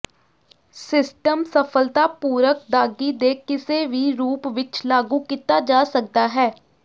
system ਸਫਲਤਾਪੂਰਕ ਦਾਗੀ ਦੇ ਕਿਸੇ ਵੀ ਰੂਪ ਵਿਚ ਲਾਗੂ ਕੀਤਾ ਜਾ ਸਕਦਾ ਹੈ